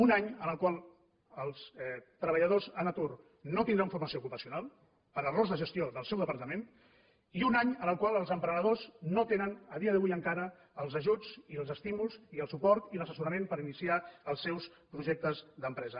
un any en el qual els treballadors en atur no tindran formació ocupacional per errors de gestió del seu departament i un any en el qual els emprenedors no tenen a dia d’avui encara els ajuts i els estímuls i el suport i l’assessorament per iniciar els seus projectes d’empresa